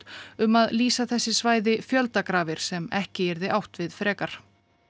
um að lýsa þessi svæði fjöldagrafir sem ekki yrði átt við frekar